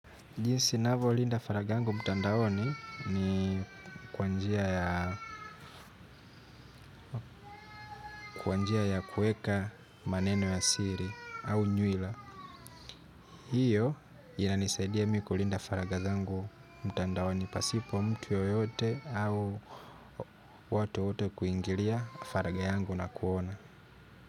Jinsi ninavyo linda faragha yangu mtandaoni, ni kwa njia ya kuweka maneno ya siri au nywela. Hio inanisaidia mi kulinda faragha zangu mtandaoni, pasipo mtu yoyote au watu wote kuingilia faragha yangu na kuona.